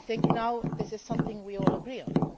Now this is something we all agree on